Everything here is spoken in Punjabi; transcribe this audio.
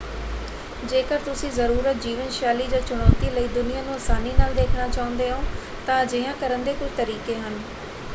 ਜੇਕਰ ਤੁਸੀਂ ਜ਼ਰੂਰਤ, ਜੀਵਨ ਸ਼ੈਲੀ ਜਾਂ ਚੁਣੌਤੀ ਲਈ ਦੁਨੀਆਂ ਨੂੰ ਆਸਾਨੀ ਨਾਲ ਦੇਖਣਾ ਚਾਹੁੰਦੇ ਹੋ ਤਾਂ ਅਜਿਹਾ ਕਰਨ ਦੇ ਕੁਝ ਤਰੀਕੇ ਹਨ।